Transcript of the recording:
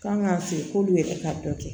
Kan ka feere k'olu yɛrɛ ka dɔ kɛ